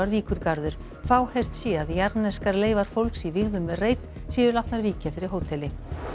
Víkurgarður fáheyrt sé að jarðneskar leifar fólks í vígðum reit séu látnar víkja fyrir hóteli